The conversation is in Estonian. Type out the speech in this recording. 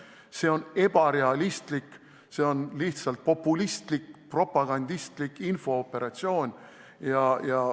See on ebarealistlik, see on lihtsalt populistlik, propagandistlik infooperatsioon.